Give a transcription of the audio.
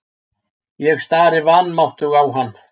Ég stari vanmáttug á hann.